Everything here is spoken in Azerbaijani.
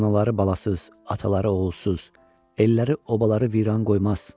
Anaları balasız, ataları oğulsuz, elləri, obaları viran qoymaz.